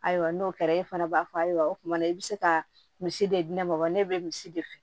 Ayiwa n'o kɛra e fana b'a fɔ ayiwa o tuma i bɛ se ka misi de di ne ma wa ne bɛ misi de fɛ